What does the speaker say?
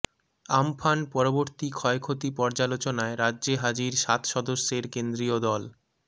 Amphan পরবর্তী ক্ষয়ক্ষতি পর্যালোচনায় রাজ্যে হাজির সাত সদস্যের কেন্দ্রীয় দল